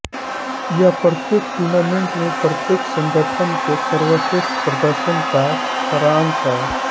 यह प्रत्येक टूर्नामेंट में प्रत्येक संघटन के सर्वश्रेष्ठ प्रदर्शन का सारांश है